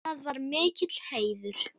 Það var mikill heiður.